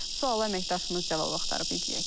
Sual əməkdaşımız cavab axtarıb, izləyək.